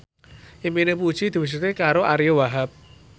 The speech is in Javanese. impine Puji diwujudke karo Ariyo Wahab